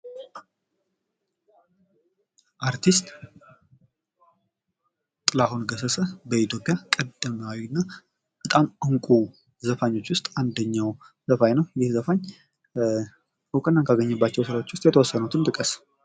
አርቲስት ጥላሁን ገሰሰ በኢትዮጵያ ቀደምትና በጣም እንቁ ዘፋኞች ውስጥ አንደኛው ነው ይህ ዘፋኝ እውቅና ካገኘባቸው ስራዎች ውስጥ የተወሰኑትን ጥቀስ?